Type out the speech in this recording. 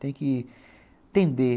Tem que entender.